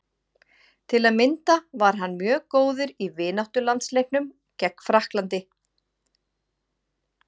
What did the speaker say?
Til að mynda var hann mjög góður í vináttulandsleiknum gegn Frakklandi.